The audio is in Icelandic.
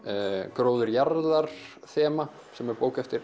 gróður jarðar þema sem er bók eftir